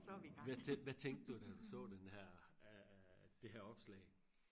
hvad tænkte hvad tænkte du da du så den her øh det her opslag